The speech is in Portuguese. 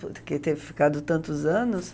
Porque teve ficado tantos anos.